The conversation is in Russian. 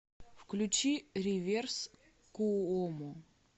включи риверс куомо